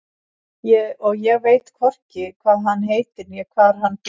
Og ég veit hvorki hvað hann heitir né hvar hann býr.